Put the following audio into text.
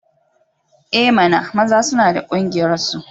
I mana! maza suna da ƙungiyarsu.